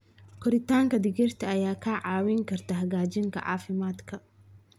Koritaanka digirta ayaa kaa caawin karta hagaajinta caafimaadka.